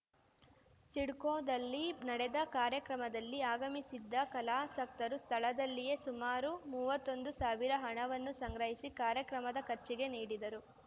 ಸಿಡ್ಕೋದಲ್ಲಿ ನಡೆದ ಕಾರ್ಯಕ್ರಮದಲ್ಲಿ ಆಗಮಿಸಿದ್ದ ಕಲಾಸಕ್ತರು ಸ್ಥಳದಲ್ಲಿಯೇ ಸುಮಾರು ಮೂವತ್ತೊಂದು ಸಾವಿರ ಹಣವನ್ನು ಸಂಗ್ರಹಿಸಿ ಕಾರ್ಯಕ್ರಮದ ಖರ್ಚಿಗೆ ನೀಡಿದರು